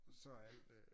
Så er alt